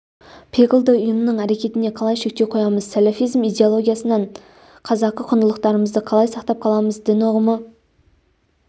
пиғылды ұйымның әрекетіне қалай шектеу қоямыз сәләфизм идеологиясынан қазақы құндылықтарымызды қалай сақтап қаламыз дін ұғымы